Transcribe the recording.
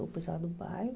O pessoal do bairro.